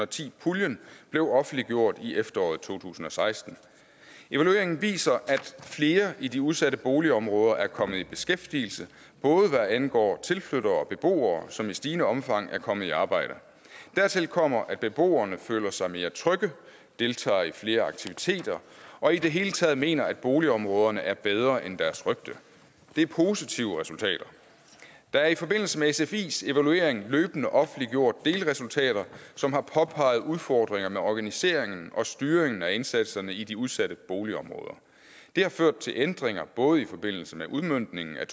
ti puljen blev offentliggjort i efteråret to tusind og seksten evalueringen viser at flere i de udsatte boligområder er kommet i beskæftigelse både hvad angår tilflyttere og beboere som i stigende omfang er kommet i arbejde dertil kommer at beboerne føler sig mere trygge deltager i flere aktiviteter og i det hele taget mener at boligområderne er bedre end deres rygte det er positive resultater der er i forbindelse med sfis evaluering løbende offentliggjort delresultater som har påpeget udfordringer med organiseringen og styringen af indsatserne i de udsatte boligområder det har ført til ændringer både i forbindelse med udmøntningen af